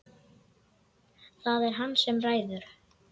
Það er hann sem ræður.